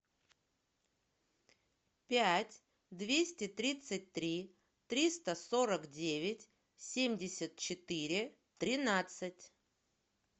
пять двести тридцать три триста сорок девять семьдесят четыре тринадцать